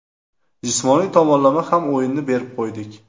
Jismoniy tomonlama ham o‘yinni berib qo‘ydik.